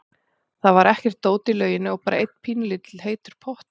Það var ekkert dót í lauginni og bara einn pínulítill heitur pottur.